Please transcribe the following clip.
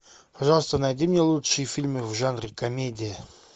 пожалуйста найди мне лучшие фильмы в жанре комедия